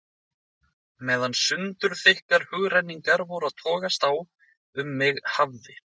Meðan sundurþykkar hugrenningar voru að togast á um mig hafði